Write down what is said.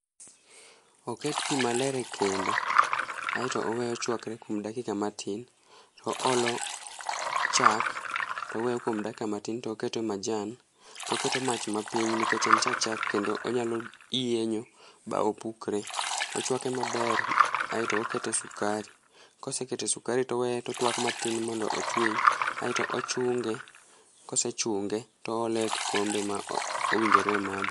oket pi maler e kendo ae to oweye ochwakre kuom dakika matin to oolo chak to oweyo kuom dakika matin to oketo majan to oketo mach ma piny nikech en ja chak nikech onyalo yienyo ma opukre, ochuake maber ae to oketo e sukari, kose kete sukari ae to oweye otusk matin mondo ochwiny ae to ochunge kose chunge to oole e kikombe ma owinjore omadhe